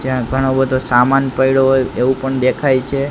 જ્યાં ઘણો બધો સામાન પઇડો હોય એવુ પણ દેખાય છે.